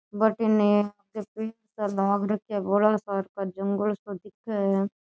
भटीने आगे पेड़ सा लाग रख्या है बड़ा सार का जंगल सा दिखे है।